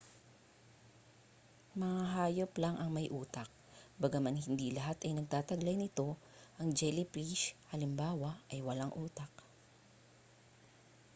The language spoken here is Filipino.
mga hayop lang ang may utak bagaman hindi lahat ay nagtataglay nito; ang jellyfish halimbawa ay walang utak